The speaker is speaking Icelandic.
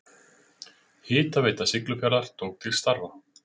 Hitaveita Siglufjarðar tók til starfa.